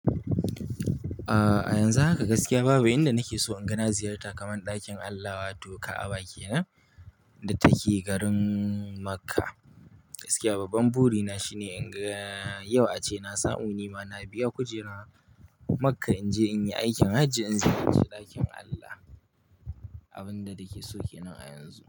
Aa, a yanzu haka gaskiya babu. Inda nake so inga na, ziyarta kaman ɗakin Allah wato Ka'aba kenan da take garin Makka. Gaskiya babban buri na shine in ga, yau ace na samu nima na biya kujerar Makka in je in yi aikin hajji in ziyarci ɗakin Allah. Abun da nake so kenan a yanzu.